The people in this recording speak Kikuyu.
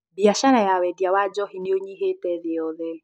Biacara ya wendia wa njovi nĩ ũnyivĩte thĩ yothe